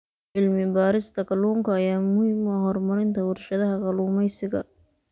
Cilmi-baarista kalluunka ayaa muhiim u ah horumarinta warshadaha kalluumeysiga.